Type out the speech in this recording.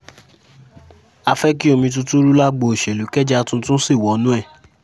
a fẹ́ kí omi tuntun ru lágbo òṣèlú kẹjá tuntun sí wọnú ẹ̀